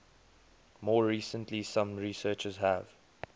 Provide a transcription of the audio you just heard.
more recently some researchers have